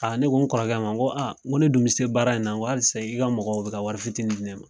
ne ko n kɔrɔkɛ ma n ko ne dun bɛ se baara in na n ko halisa i ka mɔgɔ bɛ ka wari fitiinin di ne ma.